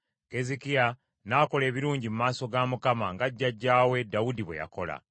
Keezeekiya n’akola ebirungi mu maaso ga Mukama , nga jjajjaawe Dawudi bwe yakola.